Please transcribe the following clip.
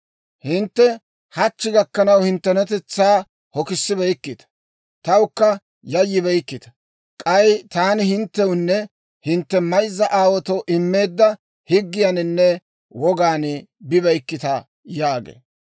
Hintte hachchi gakkanaw, hinttenatetsaa hokisibeykkita; tawukka yayyibeykkita. K'ay taani hinttewunne hintte mayzza aawaatoo immeedda higgiyaaninne wogaan bibeykkita› yaagee.